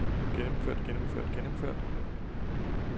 gennemført gennemført gennemført